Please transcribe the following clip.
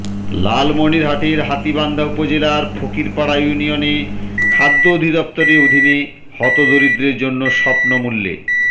লালমনিরহাটের হাতীবান্ধা উপজেলার ফকিরপাড়া ইউনিয়নে খাদ্য অধিদপ্তরের অধিনে হত দরিদ্রদের জন্য স্বপ্ল মূল্যে